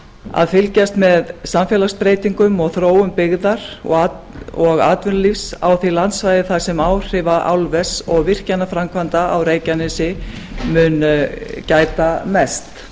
að fylgjast með samfélagsbreytingum og þróun byggðar og atvinnulífs á þau landsvæði þar sem áhrifa álvers og virkjanaframkvæmda á reykjanesi mun gæta mest